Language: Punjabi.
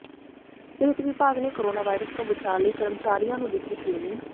ਸਿਹਤ ਵਿਭਾਗ ਨੇ ਕੋਰੋਨਾ ਵਾਇਰਸ ਤੋਂ ਬਚਾਅ ਲਈ ਕਰਮਚਾਰੀਆਂ ਨੂੰ ਦਿੱਤੀ ਟਰੇਨਿੰਗ